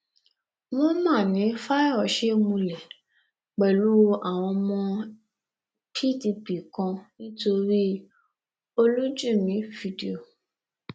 wọn mà ní fáyọṣe múlẹ pẹlú àwọn ọmọ pdp kan nítorí olùjìmì fídíò